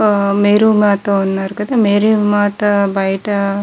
ఆహ్ మేరీమాత ఉన్నారు కదా మేరీమాత బయట --